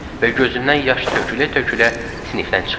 Və gözündən yaş tökülə-tökülə sinifdən çıxdı.